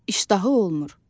İştahı olmur.